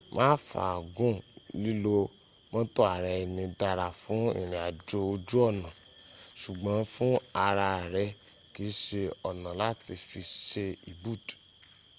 má fàá gùn lilo mọ́́tò ara eni dara fún irin ajo oju ona ṣùgbọ́́n fún ara re kii se ona lati fi se ibud.